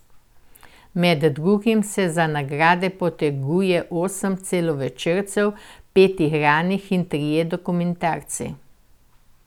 Med drugim se za nagrade poteguje osem celovečercev, pet igranih in trije dokumentarci.